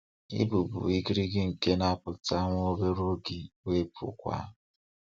Ị bụ bụ igirigi nke na-apụta nwa obere oge wee pụkwaa.